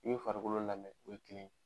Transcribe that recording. I be farikolo lamɛn o ye kelen ye,